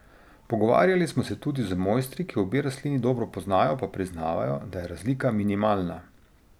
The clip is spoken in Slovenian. Pogovarjali smo se tudi z mojstri, ki obe rastlini dobro poznajo, pa priznavajo, da je razlika minimalna.